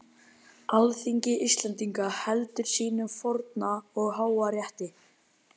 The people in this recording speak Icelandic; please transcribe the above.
Alþingi Íslendinga heldur sínum forna og háa rétti!